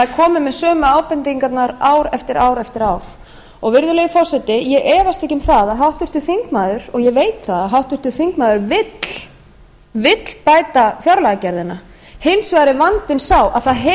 er komið með sömu ábendingarnar ár eftir ár eftir ár virðulegi forseti ég efast ekki um að háttvirtur þingmaður og ég veit það að háttvirtur þingmaður vill bæta fjárlagagerðina hins vegar er vandinn sá að það hefur ekki verið gert og